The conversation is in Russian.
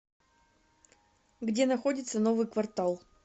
где находится новый квартал